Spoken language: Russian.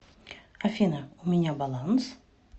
афина у меня баланс